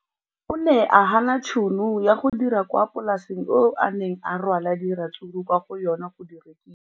O ne a gana tšhono ya go dira kwa polaseng eo a neng rwala diratsuru kwa go yona go di rekisa.